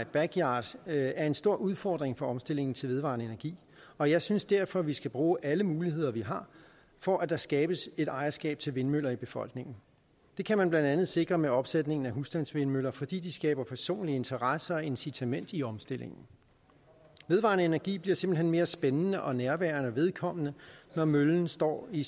backyard er en stor udfordring for omstillingen til vedvarende energi og jeg synes derfor vi skal bruge alle muligheder vi har for at der skabes et ejerskab til vindmøller i befolkningen det kan man blandt andet sikre med opsætningen af husstandsvindmøller fordi de skaber personlige interesser og incitament i omstillingen vedvarende energi bliver simpelt hen mere spændende og nærværende og vedkommende når møllen står i